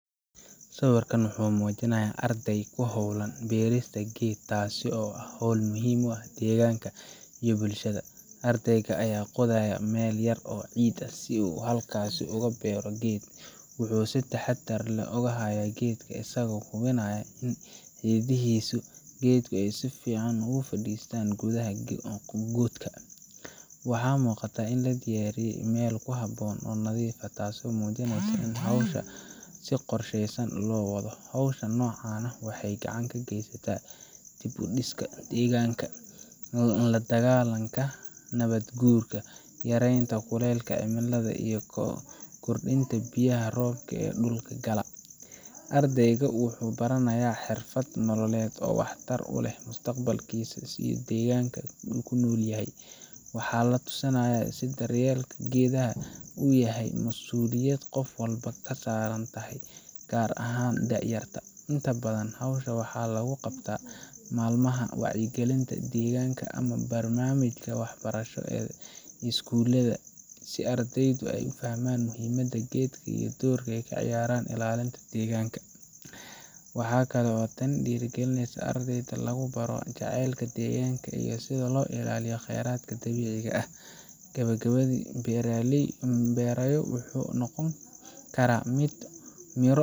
Sawirkan wuxuu muujinayaa arday ku hawlan beerista geed, taas oo ah hawl muhiim u ah deegaanka iyo bulshada. Ardayga ayaa qoday meel yar oo ciid ah si uu halkaas ugu beero geedka. Wuxuu si taxaddar leh u hayaa geedka isagoo hubinaya in xididdada geedku ay si fiican ugu fadhiistaan gudaha godka. Waxaa muuqata in la diyaariyey meel ku habboon oo nadiif ah, taasoo muujinaysa in howsha si qorshaysan loo wado. Hawlaha noocan ah waxay gacan ka geystaan dib u dhiska deegaanka, la dagaalanka nabaadguurka, yareynta kuleylka cimilada, iyo kordhinta biyaha roobka ee dhulka gala. Ardayga wuxuu baranayaa xirfad nololeed oo waxtar u leh mustaqbalkiisa iyo deegaanka uu ku nool yahay. Waxaa la tusayaa in daryeelka geedaha uu yahay masuuliyad qof walba ka saaran tahay, gaar ahaan da’yarta. Inta badan, hawshan waxaa lagu qabtaa maalmaha wacyigelinta deegaanka ama barnaamijyada waxbarasho ee iskuulada, si ardaydu ay u fahmaan muhiimadda geedka iyo doorka ay ka ciyaaraan ilaalinta deegaanka. Waxa kale oo tani dhiirrigelisaa in ardayda lagu baro jacaylka deegaanka iyo sida loo ilaaliyo khayraadka dabiiciga ah. Geedka la beerayo wuxuu noqon karaa mid miro.